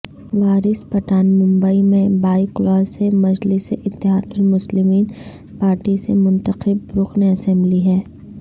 وارث پٹھان ممبئی میں بائکلا سے مجلس اتحاد المسلمین پارٹی سے منتخب رکن اسمبلی ہیں